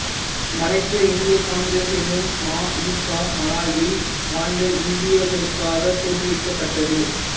மலேசிய இந்திய காங்கிரஸ் எனும் ம இ கா மலாயாவில் வாழ்ந்த இந்தியர்களுக்காகத் தோற்றுவிக்கப் பட்டது